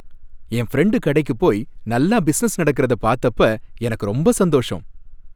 என் friend கடைக்குப் போய் நல்லா பிஸினஸ் நடக்கிறத பார்த்தப்ப எனக்கு ரொம்ப சந்தோஷம்.